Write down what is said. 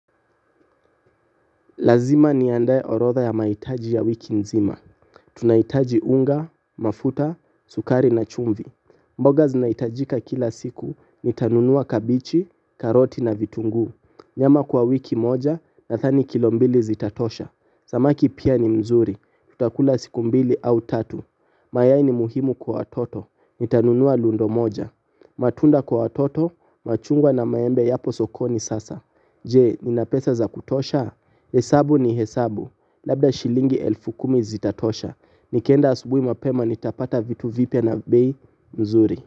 Lazima niandae orotha ya maitaji ya wiki nzima. Tunaitaji unga, mafuta, sukari na chumvi. Mboga zinaitajika kila siku, nitanunua kabichi, karoti na vitungu. Nyama kwa wiki moja, na dhani kilo mbili zitatosha. Samaki pia ni mzuri, tutakula siku mbili au tatu. Mayai ni muhimu kwa toto, nitanunua lundo moja. Matunda kwa watoto, machungwa na maembe yapo sokoni sasa. Je? Ninapesa za kutosha? Haa, hesabu ni hesabu, labda shilingi elfu kumi zitatosha, nikienda asubuhi mapema nitapata vitu vipya na bei nzuri.